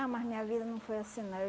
Ah, mas minha vida não foi assim não. Eu